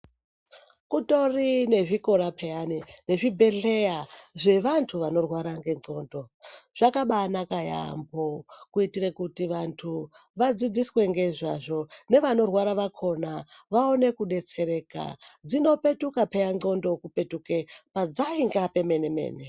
Kutori nezvikora peyani nezvibhedhleya zvevantu vanorwara nendxondo zvakabanaka yampho kuitire kuti vantu vadzidziswe ngezvazvo nevanorwara vakona vaone kudetsereka dzinopetuka peya ndxondo kupetuke padzainga pemene mene.